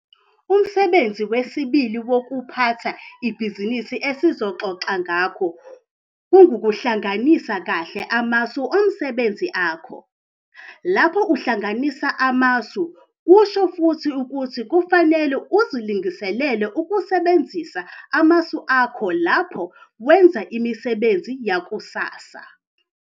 Umsebenzi wesibili wokuphatha ibhizinisi esizoxoxa ngakho ngukuhlanganisa kahle amasu omsebenzi akho. Lapho uhlanganisa amasu kusho futhi ukuthi kufanele uzilungisele ukusebenzisa amasu akho lapho wenza imisebenzi yakusasa.